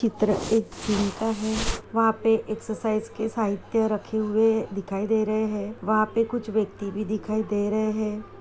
चित्र एक जिम का है वहाँ पे एक्सरसाइज के साहित्य रखे हुए दिखाई दे रहे हैं वहाँ पे कुछ व्यक्ति भी दिखाई दे रहे हैं।